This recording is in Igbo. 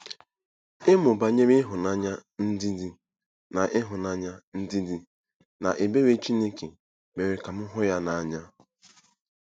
Ịmụ banyere ịhụnanya, ndidi, na ịhụnanya, ndidi, na ebere Chineke mere ka m hụ ya n’anya.